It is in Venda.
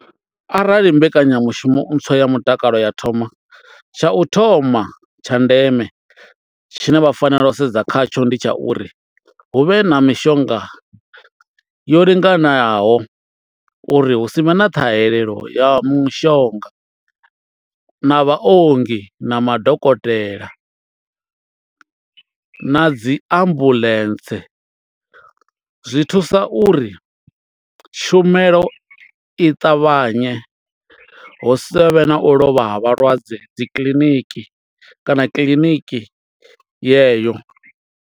Arali mbekanyamushumo ntswa ya mutakalo ya thoma tsha u thoma tsha ndeme tshine vha fanela u sedza khatsho ndi tsha uri hu vhe na mishonga yo linganaho uri hu si vhe na ṱhahelelo ya mushonga na vhaongi na madokotela na dzi ambuḽentse, zwi thusa uri tshumelo i ṱavhanye hu sa vhe na u lovha ha vhalwadze dzi kiḽiniki kana kiḽiniki yeyo.